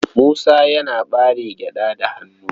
Musa yana ɓare gyaɗa da hannu.